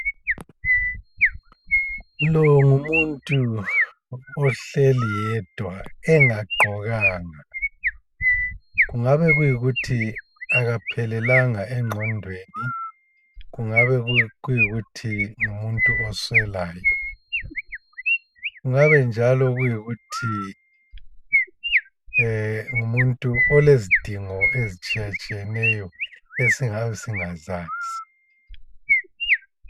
Lo ngumuntu ohleli yedwa engagqokanga kungabe kuyikuthi akaphelelanga engqondweni kungabe kuyikuthi ngumuntu oswelayo, ngabe njalo kuyikuthi ngumuntu olezidingo ezitshiyatshiyeneyo esingabe singazazi.